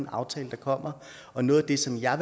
aftale der kommer og noget af det som jeg